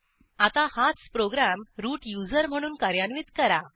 आता हाच program root user म्हणून कार्यान्वित करा